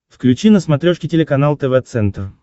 включи на смотрешке телеканал тв центр